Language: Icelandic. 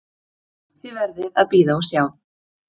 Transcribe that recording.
Þið verðið að bíða og sjá.